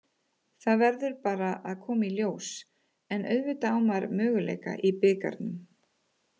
Það verður bara að koma í ljós, en auðvitað á maður möguleika í bikarnum.